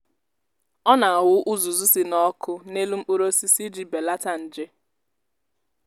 ọ na-awụ uzuzu si n’ọkụ n’elu mkpụrụ osisi iji belata nje.